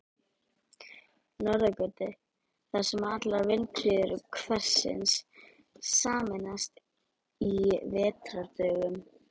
Norðurgötu, þar sem allar vindhviður hverfisins sameinast á vetrardögum.